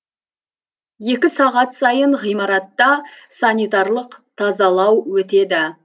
екі сағат сайын ғимаратта санитарлық тазалау өтеді